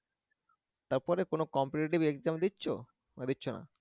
তারপরে কোন competitive exam দিচ্ছ? না দিচ্ছ না?